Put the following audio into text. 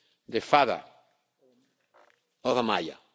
the father of Amaya.